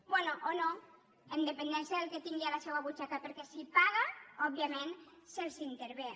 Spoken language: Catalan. bé o no amb dependència del que tingui a la seua butxaca perquè si paga òbviament se l’intervé